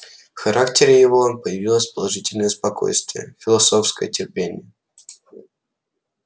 в характере его появились положительное спокойствие философское терпение